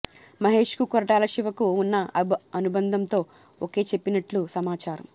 మహేష్ కు కొరటాల శివకు ఉన్న అనుబంధంతో ఓకే చెప్పినట్లు సమాచారం